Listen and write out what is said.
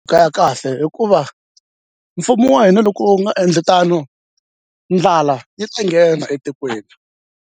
ya kahle hikuva mfumo wa hina loko u nga endli tano ndlala yi ta nghena etikweni.